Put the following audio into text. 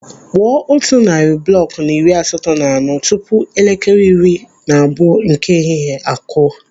Kpụọ otu narị bụlọkụ na iri asatọ na anọ tupu elekere iri na abụọ nke ehihie akụọ.